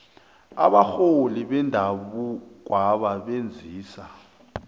abarholi bendabukwaba benzisa